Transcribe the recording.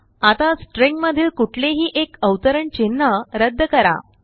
आता स्ट्रिंगमधील कुठलेही एक अवतरण चिन्ह रद्द करा